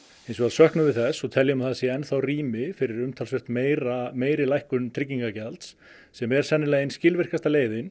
hins vegar söknum við þess og teljum að það sé enn þá rými fyrir umtalsvert meiri meiri lækkun tryggingagjalds sem er sennilega ein skilvirkasta leiðin